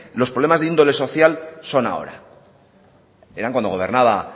los problemas de índole social son ahora eran